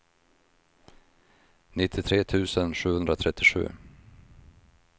nittiotre tusen sjuhundratrettiosju